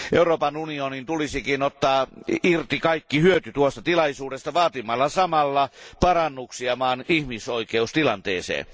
Euroopan unionin tulisikin ottaa irti kaikki hyöty tuosta tilaisuudesta vaatimalla samalla parannuksia maan ihmisoikeustilanteeseen.